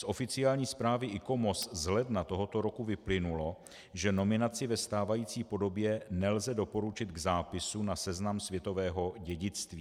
Z oficiální zprávy ICOMOS z ledna tohoto roku vyplynulo, že nominaci ve stávající podobě nelze doporučit k zápisu na seznam světového dědictví.